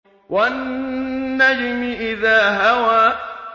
وَالنَّجْمِ إِذَا هَوَىٰ